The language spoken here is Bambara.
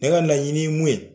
Ne ka laɲini ye mun ye.